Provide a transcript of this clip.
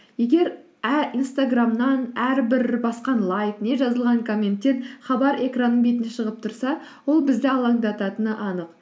егер инстаграмнан әрбір басқан лайк не жазылған коменттен хабар экранның бетіне шығып тұрса ол бізді алаңдататыны анық